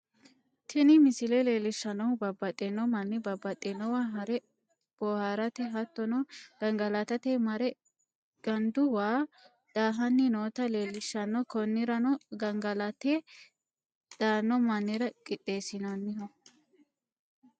Tini misile leelishanohu babaxino mani babaxinowa hare boohrate hattono gangalatate mare gandu waa daahanni nootta leellishano konirano gangalatate daano manira qixeesinoniho